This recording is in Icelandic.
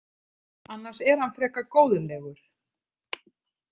Annars er hann frekar góðlegur.